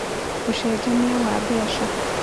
Ũcenjania wa mbeca: